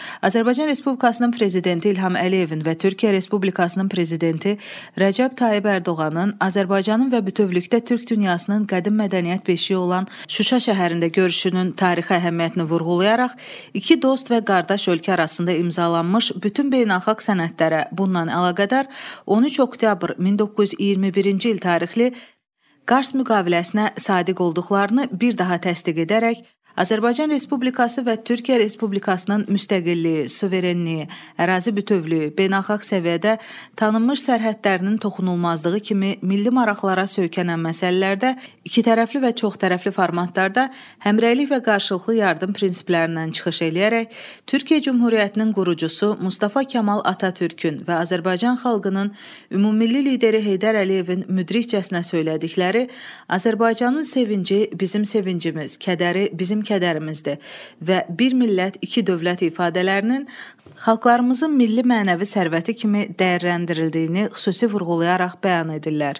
Azərbaycan Respublikasının prezidenti İlham Əliyevin və Türkiyə Respublikasının prezidenti Rəcəb Tayyib Ərdoğanın Azərbaycanın və bütövlükdə Türk dünyasının qədim mədəniyyət beşiyi olan Şuşa şəhərində görüşünün tarixi əhəmiyyətini vurğulayaraq, iki dost və qardaş ölkə arasında imzalanmış bütün beynəlxalq sənədlərə bununla əlaqədar 13 oktyabr 1921-ci il tarixli Kars müqaviləsinə sadiq olduqlarını bir daha təsdiq edərək, Azərbaycan Respublikası və Türkiyə Respublikasının müstəqilliyi, suverenliyi, ərazi bütövlüyü, beynəlxalq səviyyədə tanınmış sərhədlərinin toxunulmazlığı kimi milli maraqlara söykənən məsələlərdə ikitərəfli və çoxtərəfli formatlarda həmrəylik və qarşılıqlı yardım prinsiplərindən çıxış eləyərək, Türkiyə Cümhuriyyətinin qurucusu Mustafa Kamal Atatürkün və Azərbaycan xalqının ümummilli lideri Heydər Əliyevin müdrikcəsinə söylədikləri Azərbaycanın sevinci bizim sevincimiz, kədəri bizim kədərimizdir və bir millət, iki dövlət ifadələrinin xalqlarımızın milli mənəvi sərvəti kimi dəyərləndirildiyini xüsusi vurğulayaraq bəyan edirlər.